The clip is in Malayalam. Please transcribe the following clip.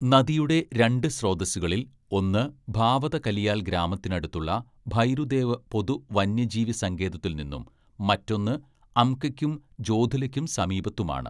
നദിയുടെ രണ്ട് സ്രോതസ്സുകളിൽ ഒന്ന് ഭാവത കലിയാൽ ഗ്രാമത്തിനടുത്തുള്ള ഭൈരുദേവ് പൊതു വന്യജീവി സങ്കേതത്തിൽ നിന്നും മറ്റൊന്ന് അംകയ്ക്കും ജോധുലയ്ക്കും സമീപത്തുമാണ്.